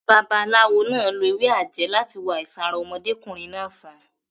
Babaláwo náà lo ewé àjẹ́ láti wo àìsàn ara ọmọdékùnrin náà sàn.